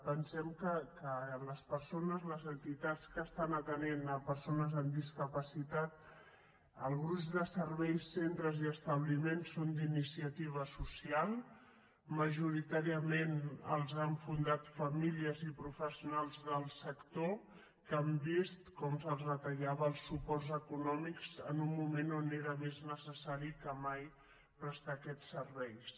pensem que les entitats que estan atenent persones amb discapacitat el gruix de serveis centres i establiments són d’iniciativa social majoritàriament els han fundat famílies i professionals del sector que han vist com se’ls retallaven els suports econòmics en un moment on era més necessari que mai prestar aquests serveis